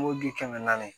kɛmɛ naani